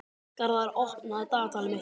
Garðar, opnaðu dagatalið mitt.